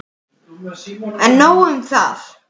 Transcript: En nóg um það.